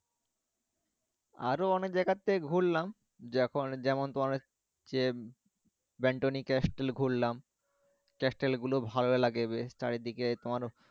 আরও অনেক জায়গাতে ঘুরলাম, যখন যেমন তোমার হচ্ছে bantony castle ঘুরলাম castle গুলো ভালো লাগে বেশ চারিদিকে তোমার